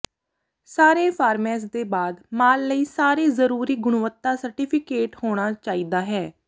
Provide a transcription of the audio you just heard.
ਸਾਰੇ ਫਾਰਮੇਸ ਦੇ ਬਾਅਦ ਮਾਲ ਲਈ ਸਾਰੇ ਜ਼ਰੂਰੀ ਗੁਣਵੱਤਾ ਸਰਟੀਫਿਕੇਟ ਹੋਣਾ ਚਾਹੀਦਾ ਹੈ